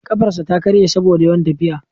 Kafarsa ta karye saboda yawan tafiya.